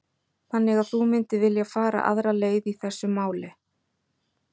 Þannig að þú myndir vilja fara aðra leið í þessu máli?